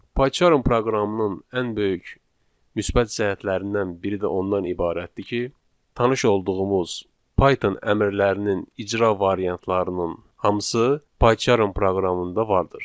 Pycharm proqramının ən böyük müsbət cəhətlərindən biri də ondan ibarətdir ki, tanış olduğumuz Python əmrlərinin icra variantlarının hamısı Pycharm proqramında vardır.